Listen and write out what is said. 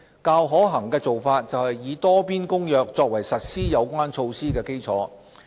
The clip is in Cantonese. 較可行的做法是以《多邊公約》作為實施有關措施的基礎。